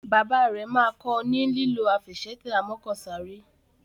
Bàbá rẹ má kò ní lilọ Àfẹsẹ̀tẹ̀ amọ́kọ̀sáré.